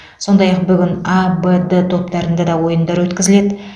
сондай ақ бүгін а б д топтарында да ойындар өткізіледі